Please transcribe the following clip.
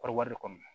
Kɔɔri wari kɔni